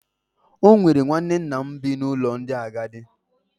O nwere nwanne nna m bi n’ụlọ ndị agadi.